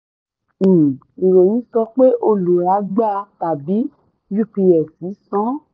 um ìròyìn sọ pé olùrà gba tàbí ups san.